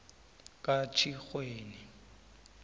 katjhirhweni